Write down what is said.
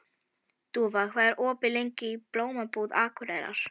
Dúfa, hvað er opið lengi í Blómabúð Akureyrar?